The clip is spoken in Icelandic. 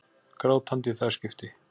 Grátandi í það skipti.